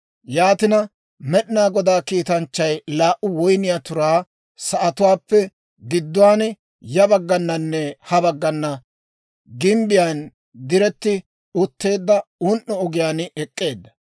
Yaatina Med'inaa Godaa kiitanchchay laa"u woyniyaa turaa sa'atuwaappe gidduwaan, ya baggananne ha baggana gimbbiyaan diretti utteedda un"o ogiyaan ek'k'eedda.